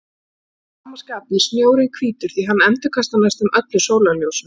Að sama skapi er snjórinn hvítur því hann endurkastar næstum öllu sólarljósinu.